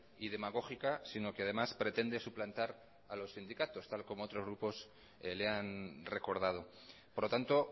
y demagógica sino que además pretende suplantar a los sindicatos tal y como otros grupos le han recordado por lo tanto